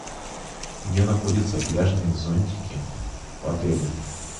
где находятся пляжные зонтики в отеле